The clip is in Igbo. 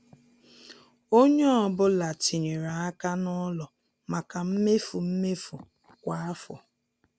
Ònye ọ́bụ̀la tinyèrè aka n' ụlọ maka mmefu mmefu kwa afọ.